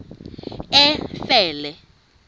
efele